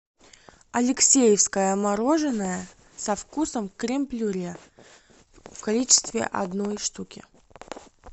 алексеевское мороженое со вкусом крем брюле в количестве одной штуки